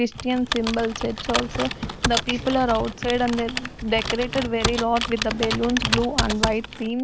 Christian symbol church also the people are outside and they are decorated very lot with the balloons blue and white theme.